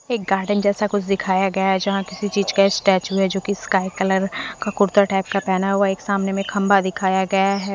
एक गार्डन जैसा कुछ दिखाया गया है जहां किसी चीज़ का स्टैचू है जो कि स्काई कलर का कुर्ता टाइप का पहना हुआ है एक सामने में खंभा दिखाया गया है।